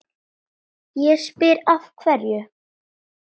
Ég spyr, af hverju?